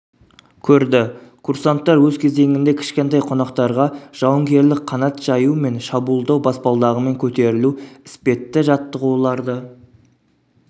көрді курсанттар өз кезегінде кішкентай қонақтарға жауынгерлік қанат жаю мен шабуылдау баспалдағымен көтерілу іспетті жаттығуларды